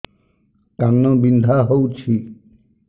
କାନ ବିନ୍ଧା ହଉଛି